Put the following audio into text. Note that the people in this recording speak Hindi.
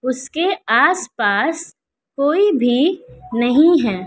उसके आस पास कोई भी नहीं है।